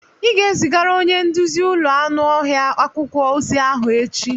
Ị ga-ezigara onye nduzi ụlọ anụ ọhịa akwụkwọ ozi ahụ echi!